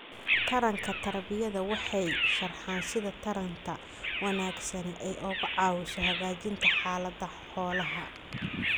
Taranka tarbiyada waxay sharxaan sida taranta wanaagsani ay uga caawiso hagaajinta xaalada xoolaha.